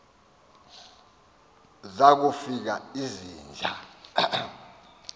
zaku fika izinja